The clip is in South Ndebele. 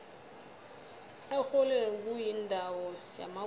erholweni kuyindawo yamagugu